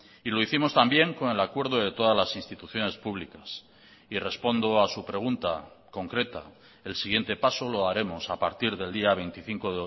y lo hicimos también con el acuerdo de todas las instituciones públicas y respondo a su pregunta concreta el siguiente paso lo haremos a partir del día veinticinco